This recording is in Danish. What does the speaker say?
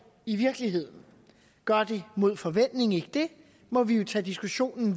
i virkeligheden gør det mod forventning ikke det må vi jo tage diskussionen